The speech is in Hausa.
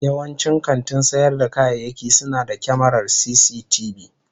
Yawancin kantin sayar da kayayyaki suna da kyamarar cctv.